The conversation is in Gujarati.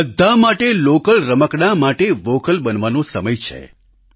હવે બધા માટે લોકલ રમકડાં માટે વોકલ બનવાનો સમય છે